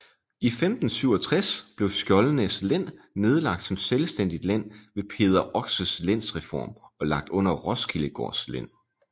I 1567 blev Skjoldenæs Len nedlagt som selvstændigt len ved Peder Oxes lensreform og lagt under Roskildegaards len